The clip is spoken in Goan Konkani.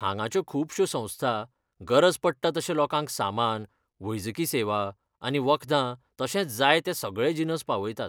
हांगाच्यो खूबश्यो संस्था गरज पडटा तशें लोकांक सामान, वैजकी सेवा आनी वखदां तशेंच जाय ते सगळे जिनस पावयतात.